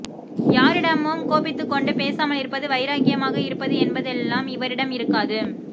யாரிடமும் கோபித்துக்கொண்டு பேசாமல் இருப்பது வைராக்கியமாக இருப்பது என்பதெல்லாம் இவரிடம் இருக்காது